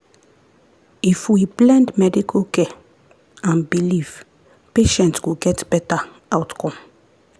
if we blend medical care and belief patients go get better outcome.